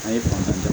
A ye bana